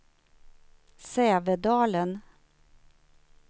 Sävedalen